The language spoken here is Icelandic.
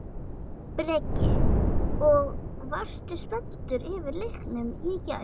Breki: Og varstu spenntur yfir leiknum í gær?